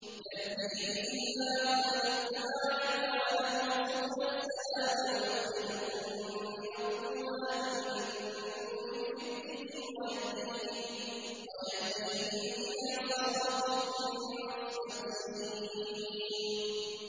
يَهْدِي بِهِ اللَّهُ مَنِ اتَّبَعَ رِضْوَانَهُ سُبُلَ السَّلَامِ وَيُخْرِجُهُم مِّنَ الظُّلُمَاتِ إِلَى النُّورِ بِإِذْنِهِ وَيَهْدِيهِمْ إِلَىٰ صِرَاطٍ مُّسْتَقِيمٍ